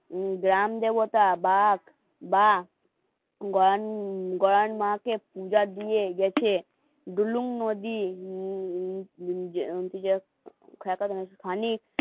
গ্রাম দেবতা বাঘ বা গন মাকে পূজা দিয়ে গেছে